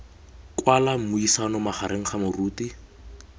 kwala mmuisano magareng ga moruti